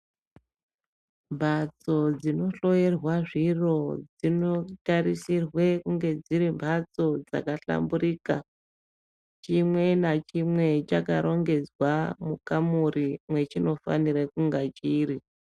Mbatso dzinohloyerwa zviro dzinotarisirwe kunge dziri mbatso dzakahlamburika. Chimwe nachimwe chakarongedzwa mukamuri mwechinofanire kunge chiri.